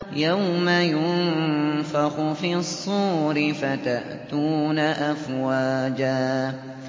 يَوْمَ يُنفَخُ فِي الصُّورِ فَتَأْتُونَ أَفْوَاجًا